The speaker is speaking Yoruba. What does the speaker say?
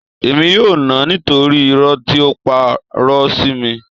Èmi yóò nà án nítorí irọ́ tí ó parọ́ sí mi